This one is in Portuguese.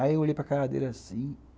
Aí eu olhei para a cara dele assim.